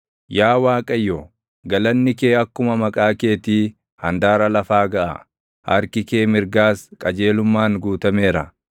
Yaa Waaqayyo, galanni kee akkuma maqaa keetii handaara lafaa gaʼa; harki kee mirgaas qajeelummaan guutameera.